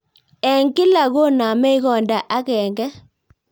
Eng' kila konamei konda agéngé